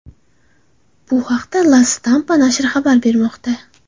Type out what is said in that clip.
Bu haqda La Stampa nashri xabar bermoqda .